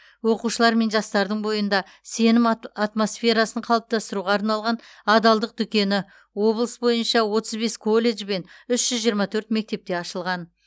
оқушылар мен жастардың бойында сенім ат атмосферасын қалыптастыруға арналған адалдық дүкені облыс бойынша отыз бес колледж бен үш жүз жиырма төрт мектепте ашылған